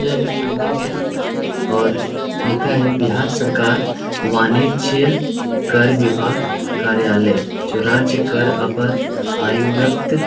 यह एक बिल्डिंग है और लिखा है बिहार सरकार वाणिज्यि कर विभाग कार्यालय जो राज्य कर अपर आयुवयक्त --